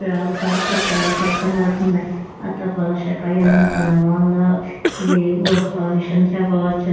ఇక్కడ ఒక తపాల శాఖ కనబడుతోంది. ఆ తపాల శాఖ ఎంత అందంగా ఉందో. ఇది పోస్ట్ ఆఫీస్ అని చెప్పవచ్చు.